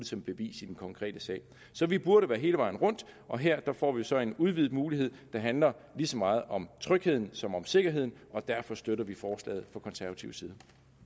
som bevis i den konkrete sag så vi burde være hele vejen rundt og her får vi så en udvidet mulighed der handler lige så meget om trygheden som om sikkerheden og derfor støtter vi forslaget fra konservativ side